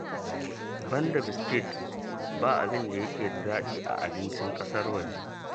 Banda biskit, ba abin da yake da daɗi a abincin ƙasar waje